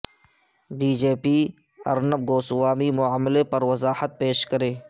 be J P Arnab Goswami معاملے پروضاحت پیش کرے